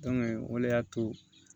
o le y'a to